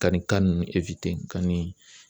Ka nin ninnu ka nin